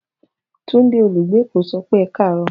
Tunde, olugbe eko, so pe E kaaro.